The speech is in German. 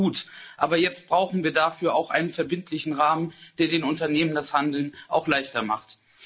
Das ist gut, aber jetzt brauchen wir dafür auch einen verbindlichen Rahmen, der den Unternehmen das Handeln auch leichter macht.